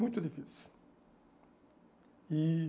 Muito difícil. E